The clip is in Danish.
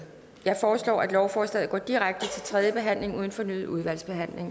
jeg foreslår at lovforslaget går direkte til tredje behandling uden fornyet udvalgsbehandling